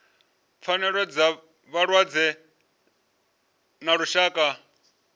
pfanelo dza vhalwadze ḽa lushaka